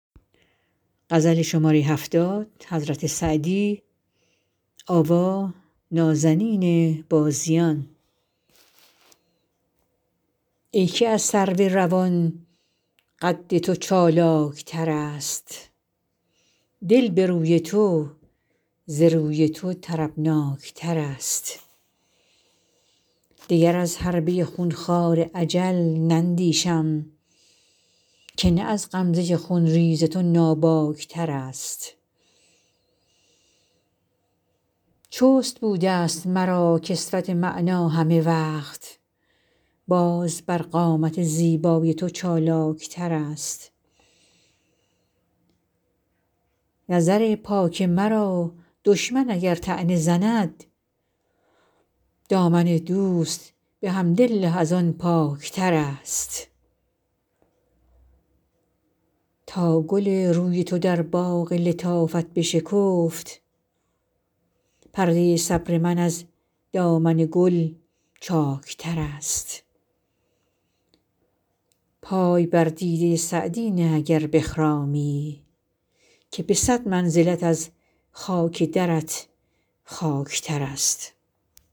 ای که از سرو روان قد تو چالاک ترست دل به روی تو ز روی تو طربناک ترست دگر از حربه خون خوار اجل نندیشم که نه از غمزه خون ریز تو ناباک ترست چست بوده ست مرا کسوت معنی همه وقت باز بر قامت زیبای تو چالاک ترست نظر پاک مرا دشمن اگر طعنه زند دامن دوست به حمدالله از آن پاک ترست تا گل روی تو در باغ لطافت بشکفت پرده صبر من از دامن گل چاک ترست پای بر دیده سعدی نه اگر بخرامی که به صد منزلت از خاک درت خاک ترست